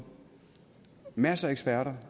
masser af eksperter